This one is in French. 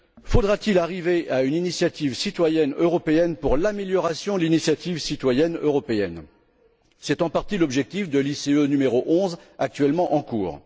Faudra t il arriver à une initiative citoyenne européenne pour l'amélioration de l'initiative citoyenne européenne? C'est en partie l'objectif de l'ICE n° 11, actuellement en cours.